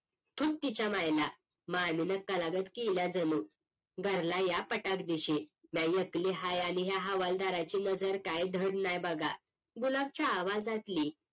तिच्या मायला मामीने कलागच केला आहे जणू घरला या पटाकदीशी लई एकली आहे आणि ह्या हवालदाराची नजर काही धड नाही बघा गुलाबाच्या आवाजातली